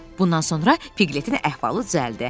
Bundan sonra Piqletin əhvalı düzəldi.